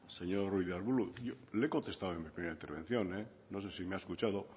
señor ruiz de arbulo le he contestado en mi primera intervención no sé si me ha escuchado